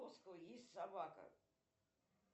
есть собака